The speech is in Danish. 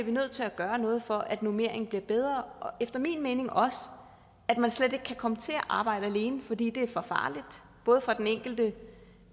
nødt til at gøre noget for at normeringen bliver bedre og efter min mening også for at man slet ikke kan komme til at arbejde alene fordi det er for farligt både for den enkelte